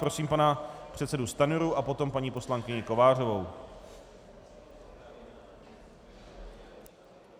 Prosím pana předsedu Stanjuru a potom paní poslankyni Kovářovou.